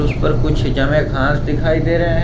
इस पर कुछ जमे घास दिखाई दे रहे हैं।